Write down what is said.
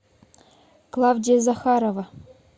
клавдия захарова